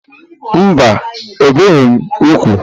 Mba, ebìghị m úgwù.